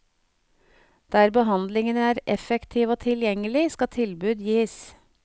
Der behandlingen er effektiv og tilgjengelig, skal tilbud gis.